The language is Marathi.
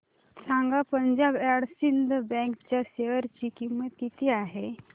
सांगा पंजाब अँड सिंध बँक च्या शेअर ची किंमत किती आहे